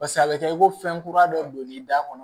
Pase a bɛ kɛ i ko fɛn kura dɔ don n'i da kɔnɔ